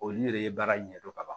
Olu de ye baara ɲɛdɔn ka ban